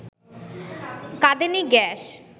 কাঁদানে gas